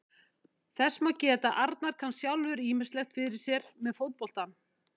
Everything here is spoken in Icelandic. Þess má geta að Arnar kann sjálfur ýmislegt fyrir sér með fótboltann.